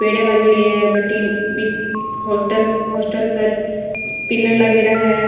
पेढियां लागेडी है बटहिन होटल हॉस्टल पर पिलर लागेड़ा है।